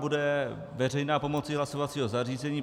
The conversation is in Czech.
Bude veřejná pomocí hlasovacího zařízení.